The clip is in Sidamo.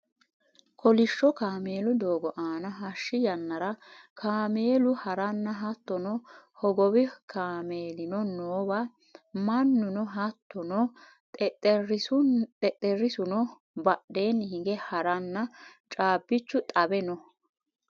kolishsho kameelu doogo aana hashshi yannara kameelu haranna hattono hogowi kameelino noowa mannuno hattono xexxerrisuno badheenni hige haranna caabbichu xawe no